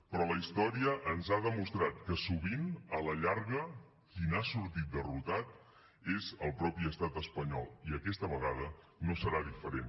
però la història ens ha demostrat que sovint a la llarga qui n’ha sortit derrotat és el mateix estat espanyol i aquesta vegada no serà diferent